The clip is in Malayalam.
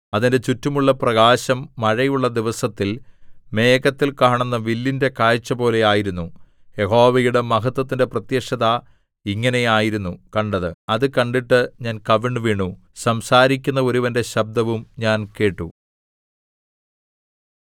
അതിന്റെ ചുറ്റുമുള്ള പ്രകാശം മഴയുള്ള ദിവസത്തിൽ മേഘത്തിൽ കാണുന്ന വില്ലിന്റെ കാഴ്ചപോലെ ആയിരുന്നു യഹോവയുടെ മഹത്വത്തിന്റെ പ്രത്യക്ഷത ഇങ്ങനെ ആയിരുന്നു കണ്ടത് അത് കണ്ടിട്ട് ഞാൻ കവിണ്ണുവീണു സംസാരിക്കുന്ന ഒരുവന്റെ ശബ്ദവും ഞാൻ കേട്ടു